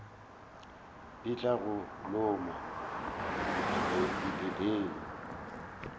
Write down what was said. di tla go loma diphepheng